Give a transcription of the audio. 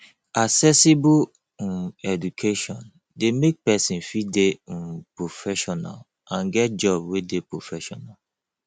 accessible um education de make persin fit de um proffessional and get job wey de professional